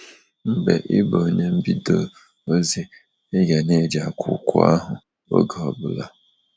Mgbe ị bụ onye mbido ozi, ị ga ana eji akwụkwọ ahụ oge ọbụla.